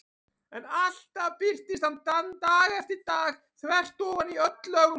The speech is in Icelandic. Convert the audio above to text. En alltaf birtist hann dag eftir dag þvert ofan í öll lögmál.